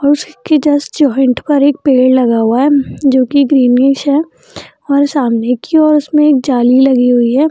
और उसी के जस्ट जॉइंट पर एक पेड़ लगा हुआ है जो की ग्रीनीश हैं और सामने की और उसमें जाल लगी हुई हैं।